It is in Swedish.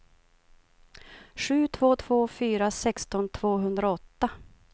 sju två två fyra sexton tvåhundraåtta